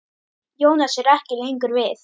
Jónas er ekki lengur við.